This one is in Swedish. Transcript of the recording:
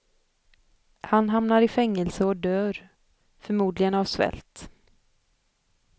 Han hamnar i fängelse och dör, förmodligen av svält.